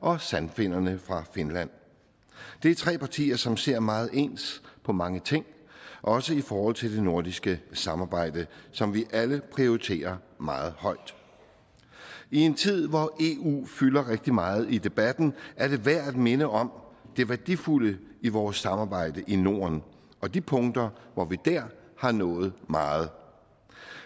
og sandfinnerne fra finland det er tre partier som ser meget ens på mange ting også i forhold til det nordiske samarbejde som vi alle prioriterer meget højt i en tid hvor eu fylder rigtig meget i debatten er det værd at minde om det værdifulde i vores samarbejde i norden og de punkter hvor vi dér har nået meget